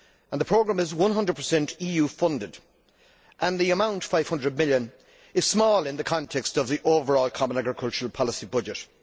The programme is 100 EU funded and the amount EUR 500 million is small in the context of the overall Common Agricultural Policy budget.